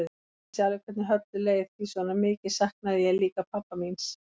Ég vissi alveg hvernig Höllu leið því svona mikið saknaði ég líka hans pabba míns.